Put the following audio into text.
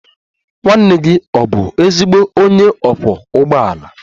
Nwanne gị ọ̀ bụ ezigbo onye ọkwọ ụgbọala?